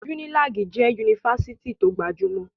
Unilag jẹ́ Yunifásitì tó gbajúmọ̀.